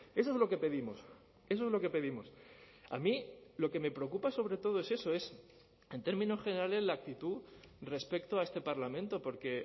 eso es lo que pedimos eso es lo que pedimos a mí lo que me preocupa sobre todo es eso es en términos generales la actitud respecto a este parlamento porque